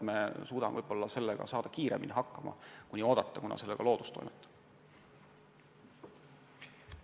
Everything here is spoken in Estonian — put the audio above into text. Võib-olla suudame ise sellega kiiremini hakkama saada, kui oodata seni, kuni loodus sellega toimetab.